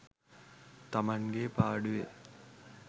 තමන්ගේ පාඩුවේ